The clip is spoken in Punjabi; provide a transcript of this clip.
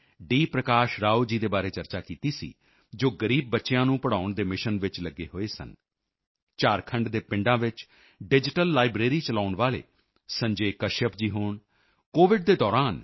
ਪ੍ਰਕਾਸ਼ ਰਾਓ ਜੀ ਦੇ ਬਾਰੇ ਚਰਚਾ ਕੀਤੀ ਸੀ ਜੋ ਗਰੀਬ ਬੱਚਿਆਂ ਨੂੰ ਪੜ੍ਹਾਉਣ ਦੇ ਮਿਸ਼ਨ ਵਿੱਚ ਲੱਗੇ ਹੋਏ ਸਨ ਝਾਰਖੰਡ ਦੇ ਪਿੰਡਾਂ ਵਿੱਚ ਡਿਜੀਟਲ ਲਾਇਬ੍ਰੇਰੀ ਡਿਜੀਟਲ ਲਾਈਬ੍ਰੇਰੀ ਚਲਾਉਣ ਵਾਲੇ ਸੰਜੇ ਕਸ਼ਯਪ ਜੀ ਹੋਣ ਕੋਵਿਡ ਦੇ ਦੌਰਾਨ ਈ